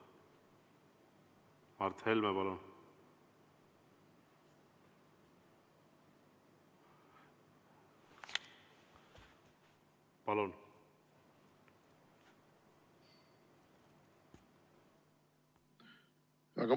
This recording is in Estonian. Mart Helme, palun!